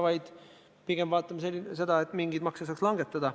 Me pigem vaatame, kas mingeid makse saaks langetada.